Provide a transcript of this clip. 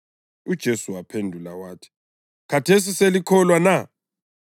UJesu waphendula wathi, “Khathesi selikholwa na?